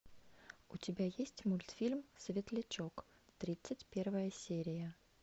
у тебя есть мультфильм светлячок тридцать первая серия